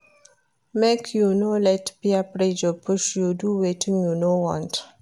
Make you no let peer pressure push you do wetin you no want.